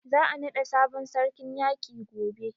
Za a naɗa sabon sarkin yaƙi gobe.